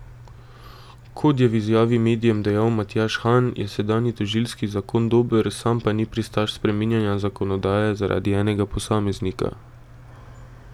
Kot je v izjavi medijem dejal Matjaž Han, je sedanji tožilski zakon dober, sam pa ni pristaš spreminjanja zakonodaje zaradi enega posameznika.